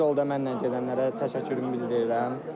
Bu yolda mənlə gedənlərə təşəkkürümü bildirirəm.